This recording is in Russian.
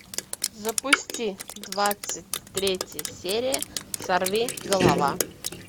запусти двадцать третья серия сорвиголова